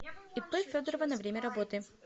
ип федорова на время работы